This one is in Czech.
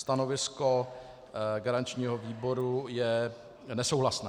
Stanovisko garančního výboru je nesouhlasné.